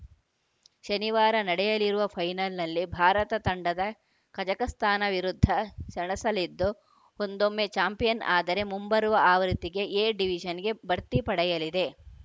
ಶನಿವಾರ ನಡೆಯಲಿರುವ ಫೈನಲ್‌ನಲ್ಲಿ ಭಾರತ ತಂಡದ ಕಜಕಸ್ತಾನ ವಿರುದ್ಧ ಸೆಣಸಲಿದ್ದು ಒಂದೊಮ್ಮೆ ಚಾಂಪಿಯನ್‌ ಆದರೆ ಮುಂಬರುವ ಆವೃತ್ತಿಗೆ ಎ ಡಿವಿಷನ್‌ಗೆ ಬಡ್ತಿ ಪಡೆಯಲಿದೆ